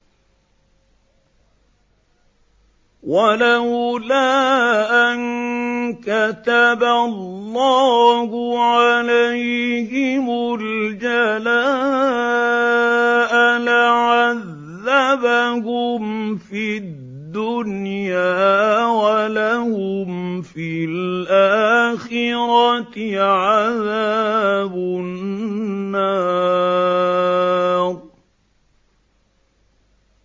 وَلَوْلَا أَن كَتَبَ اللَّهُ عَلَيْهِمُ الْجَلَاءَ لَعَذَّبَهُمْ فِي الدُّنْيَا ۖ وَلَهُمْ فِي الْآخِرَةِ عَذَابُ النَّارِ